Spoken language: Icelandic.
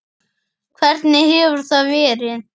Hvernig hefur það verið?